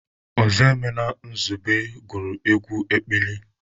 Ozoemena Nsugbe gụrụ egwu ekpili.